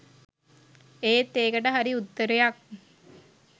ඒත් ඒකට හරි උත්තරයක්